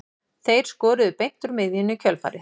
Þeir skoruðu beint úr miðjunni í kjölfarið.